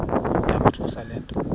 yamothusa le nto